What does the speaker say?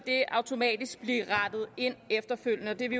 automatisk blive rettet efterfølgende og det er vi